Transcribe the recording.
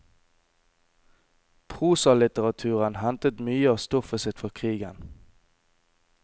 Prosalitteraturen hentet mye av stoffet sitt fra krigen.